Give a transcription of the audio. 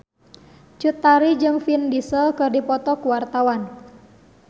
Cut Tari jeung Vin Diesel keur dipoto ku wartawan